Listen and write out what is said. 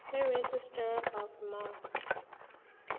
kuregistrar of gmos